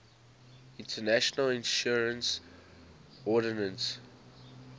international insurance ordinance